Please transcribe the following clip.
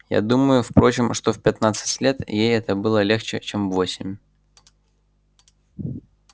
я думаю впрочем что в пятнадцать лет ей это было легче чем в восемь